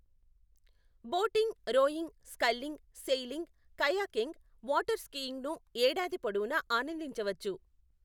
Boating, rowing, sculling, sailing, kayaking, water స్కీయింగ్ను ఏడాది పొడవునా ఆనందించవచ్చు.